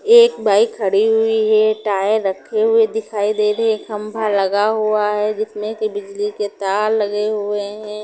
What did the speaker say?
एक बाइक खड़ी हुई हैं टायर रखे हुए दिखाई दे रहे खम्भा लगा हुआ हैं जिसमे से बिजली के तार लगे हुए हैं ।